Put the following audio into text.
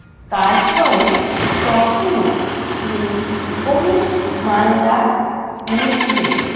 কাজ করেন তখনও তিনি কোনো মামলার মধ্যে